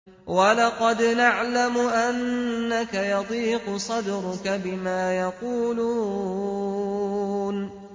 وَلَقَدْ نَعْلَمُ أَنَّكَ يَضِيقُ صَدْرُكَ بِمَا يَقُولُونَ